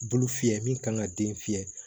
Bulu fiyɛ min kan ka den fiyɛ